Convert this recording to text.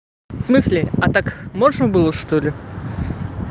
в смысле а так можно было чтоли